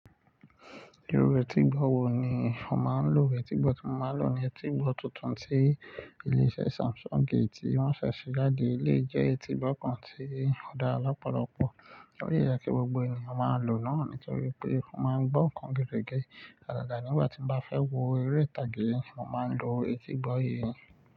Irú etígbọ́ wo ni o máa ń lò? Etígbọ́ tí mo máa ń lò ni etígbọ́ tuntun tí ilé iṣẹ́ Samsung ṣe, tí wọ́n fẹ́ ṣe jáde. Eléyìí jẹ́ etígbọ́ kan tí ó dára lọ́pọ̀lọpọ̀, ó yẹ kí gbogbo ènìyàn máa lò ó, nítorí pé ó máa ń gbó ǹkan gerégé. Àgàgà nígbà tí mo bá fẹ́ wo eré ìtàgé, mo máa ń lo etígbọ́ yìí.